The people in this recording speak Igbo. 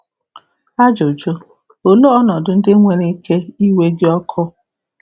Ajụjụ: Olee ọnọdụ ndị nwere um ike iwe gị ọkụ?